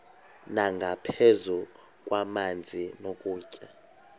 nangaphezu kwamanzi nokutya